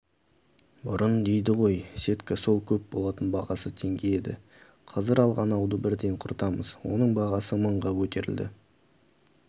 бұрын дейді ғой сетка сол көп болатын бағасы теңге еді қазір алған ауды бірден құртамыз оның бағасы мыңға көтерілді